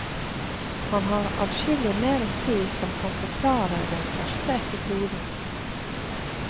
Han har adskillig mer å si som kan forklare den første episoden.